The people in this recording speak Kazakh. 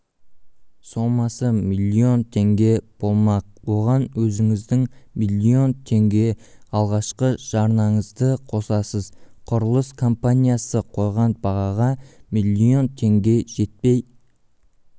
сомасы А теңге болмақ оған өзіңіздің миллион теңге алғашқы жарнаңызды қосасыз құрылыс компаниясы қойған бағаға миллион теңге жетпей